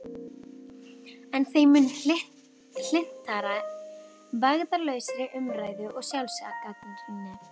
En þeim mun hlynntari vægðarlausri umræðu og sjálfsgagnrýni.